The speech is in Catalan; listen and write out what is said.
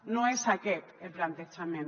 no és aquest el plantejament